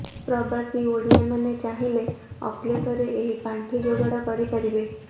ପ୍ରବାସୀ ଓଡିଆମାନେ ଚାହିଁଲେ ଅକ୍ଲେଶରେ ଏହି ପାଣ୍ଠି ଯୋଗାଡ କରିପାରିବେ